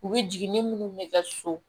U bɛ jigin ni minnu bɛ kɛ so